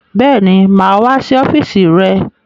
Bẹ́ẹ̀ni, mà á wá sí ọ́fíísì rẹ.